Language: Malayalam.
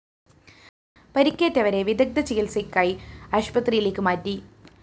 പരിക്കേറ്റവരെ വിദഗ്ദ്ധചികിത്സയ്ക്കായി ആശുപത്രിയിലേക്ക് മാറ്റി